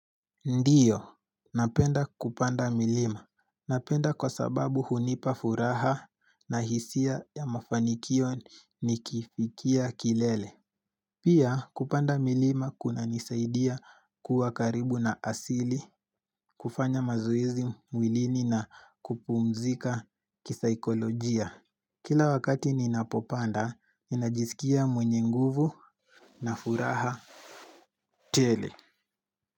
Ndiyo, napenda kupanda milima. Napenda kwa sababu hunipa furaha na hisia ya mafanikio nikifikia kilele Pia, kupanda milima kunanisaidia kuwa karibu na asili, kufanya mazoezi mwilini na kupumzika kisaikolojia Kila wakati ninapopanda, ninajisikia mwenye nguvu na furaha tele.